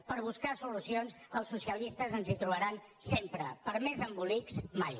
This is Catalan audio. per buscar solucions als socialistes ens hi trobaran sempre per a més embolics mai